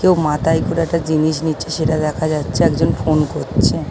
কেউ মাথায় করে একটা জিনিস নিচ্ছে সেটা দেখা যাচ্ছে একজন ফোন করছে।